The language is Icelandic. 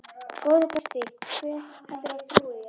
Góði besti, hver heldurðu að trúi þér?